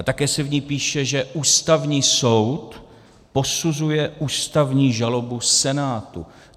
A také se v ní píše, že Ústavní soud posuzuje ústavní žalobu Senátu.